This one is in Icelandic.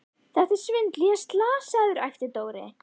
Þetta er svindl, ég er slasaður! æpti Dóri.